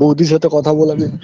বউদির সাথে কথা বলাবি